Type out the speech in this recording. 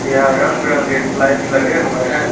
यहां रंग बिरंगे स्लाइड्स लगे हुए हैं।